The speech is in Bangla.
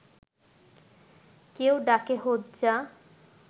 কেউ ডাকে হোজ্জা